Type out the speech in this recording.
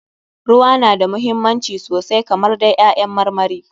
Ruwa na da muhimmanci sosai kamar dai ƴaƴan marmari.